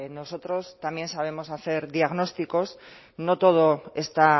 nosotros también sabemos hacer diagnósticos no todo está